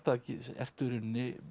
ertu í raun